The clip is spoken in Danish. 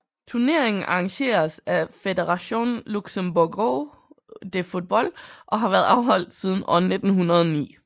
Turneringen arrangeres af Fédération Luxembourgoise de Football og har været afholdt siden år 1909